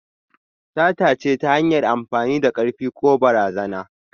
Sata ce ta hanyar amfani da karfi ko barazana.